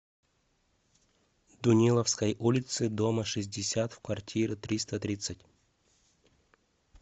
дуниловской улицы дома шестьдесят в квартиры триста тридцать